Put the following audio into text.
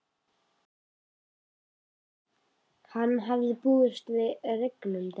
Hann hafði búist við regni um daginn.